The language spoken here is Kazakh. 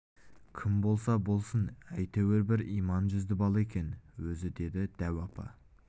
кім болса болсын әйтеуір бір иман жүзді бала екен өзі деді дәу апа